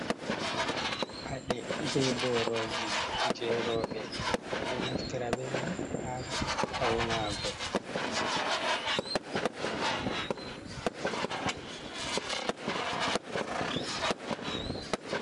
Paɗe be boroji je roɓe, ɓe ɗo naftira be mai ha faunago.